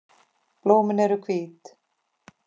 Blóm eru hvít.